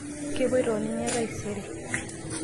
kepuoito oo ninye taisere